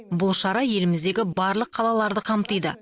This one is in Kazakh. бұл шара еліміздегі барлық қалаларды қамтиды